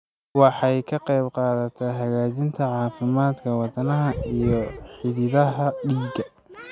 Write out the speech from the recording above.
Waxay ka qaybqaadataa hagaajinta caafimaadka wadnaha iyo xididdada dhiigga.